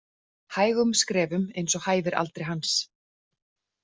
Hægum skrefum eins og hæfir aldri hans.